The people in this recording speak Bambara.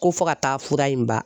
Ko fo ka taa fura in ban.